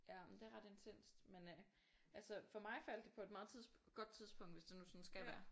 Ja men det er ret intenst men øh altså for mig faldt det på et meget tidspunkt godt tidspunkt hvis det nu skal være